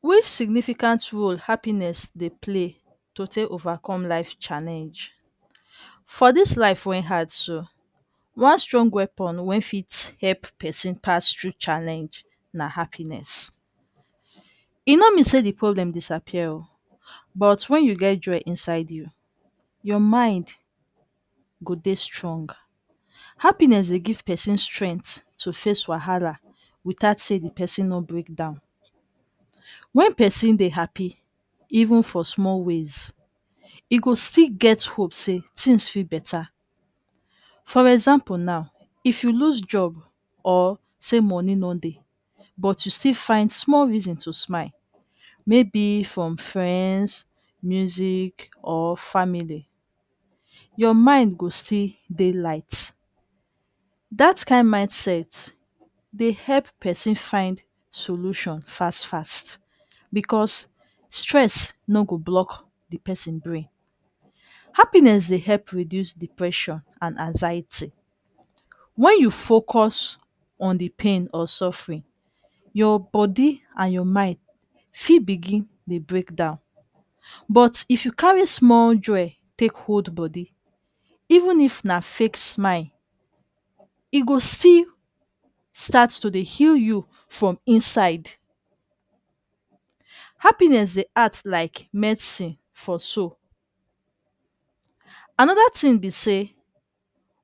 Which significant role happiness Dey play to take overcome life challenge for this life wen hard so strong so, one strong weapon wen fit help person pass thru challenge na happiness e no mean say the problem go disappear oo, but when you get joy inside you your mind go Dey strong, happiness Dey give person strength to face wahala without say the person no break down, wen person Dey happy even for small ways even for small ways, e go still get hope say things fit better, for instance if you lose job or say money no Dey but you still find small reason to smile maybe from friends, music or family, your mind go still Dey light that kind mindset Dey help person find Solution fast fast because stress no go block the person brain, happiness Dey help reduce depression and anxiety when you focus on the pain and suffrin your body and your mind fit Dey breakdown, but if you carry small joy take hold body even if na fake smile e go still stat to Dey heal you from inside, happiness Dey act like medsin for soul, anada tin be say